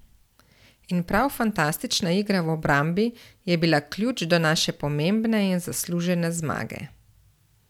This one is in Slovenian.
In prav fantastična igra v obrambi je bila ključ do naše pomembne in zaslužene zmage.